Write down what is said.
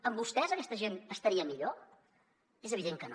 amb vostès aquesta gent estaria millor és evident que no